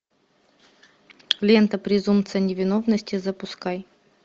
лента презумпция невиновности запускай